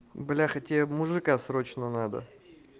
бляха тебе мужика срочно надо